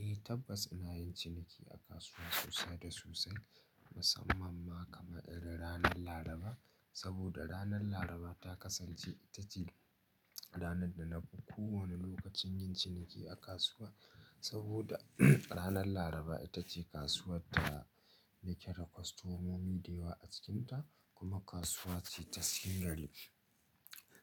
Eh, tabbas muna yin ciniki a kasuwa sosai da sosai, musamman ma kamar irin ranan Laraba. Saboda ranar Laraba ta kasance ita ce rana da na fi kowane lokaci yin ciniki a kasuwa. Saboda ranar Laraba ita ce kasuwa da nake da kwastomomi da yawa a cikinta, kuma kasuwa ce ta cigari.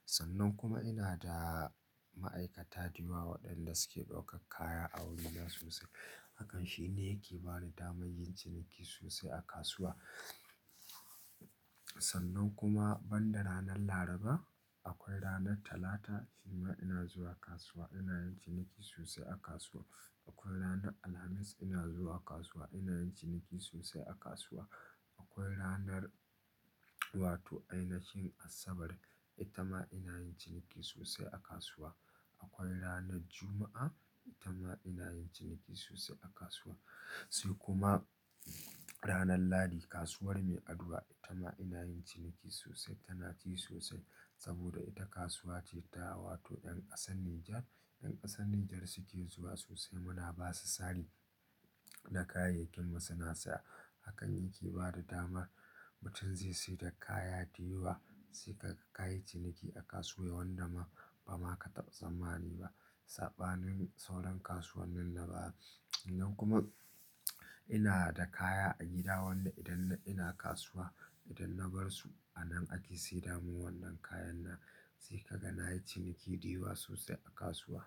Sannan kuma ina da ma'aikata da yawa waɗanda suke ɗauka kaya a wuri na sosai. Hakan shi ne yake ba ni dama yin ciniki sosai a kasuwa Sannan kuma banda rana Laraba, akwai ranar Talata, ita ma ina zuwa kasuwa, ina yin ciniki sosai a kasuwa. Akwai ranar Alhamis, ina zuwa kasuwa, ina yin ciniki sosai a kasuwa. Akwai ranar, wato ainashin Asabar, ita ma ina yin ciniki sosai a kasuwa. Akwai ranar Juma'a, ita ma ina yin ciniki sosai a kasuwa. Sai kuma ranar Lahadi, kasuwar mai addu'a, ita ma ina yin ciniki sosai. Tana ci sosai, saboda ita kasuwa ce ta, wato ƴan ƙasan Nijar, ƴan ƙasan Nijar suke zuwa sosai. Muna ba su sari na kayayyakin mu suna siya. Hakan yake ba da dama mutum zai seda da kaya dayawa, sai ka ka yi ciniki a kasuwa wanda ma ba ma ka tabba tsamani ba. Saɓanin sauran kasuwan nin na baya. Sannan kuma, ina da kaya a gida wanda idan ina kasuwa, idan na bar su a nan ake seda mun wannan kayan nan. Sai ka ga na yi ciniki da yawa sosai a kasuwa.